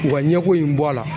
U ka ɲɛ ko in bɔ a la.